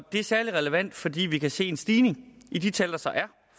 er særlig relevant fordi vi kan se en stigning i de tal der så er